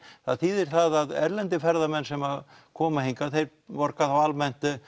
það þýðir það að erlendir ferðamenn sem koma hingað þeir borga þá almennt